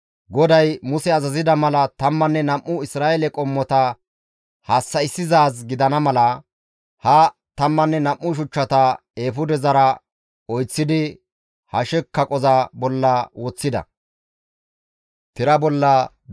GODAY Muse azazida mala tammanne nam7u Isra7eele qommota hassa7issizaaz gidana mala, ha tammanne nam7u shuchchata eefudezara oyththidi hashe kaqoza bolla woththida.